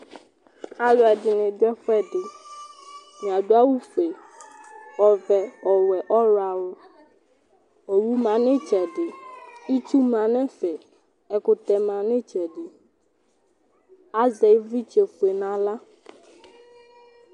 Alʋɛdɩnɩ dʋ ɛfʋɛdɩ Atanɩ adʋ awʋfue, ɔvɛ, ɔwɛ, ɔɣlɔawʋ Owu ma nʋ ɩtsɛdɩ Itsu ma nʋ ɛfɛ, ɛkʋtɛ ma nʋ ɩtsɛdɩ Azɛ ɩvlɩtsɛfue nʋ aɣla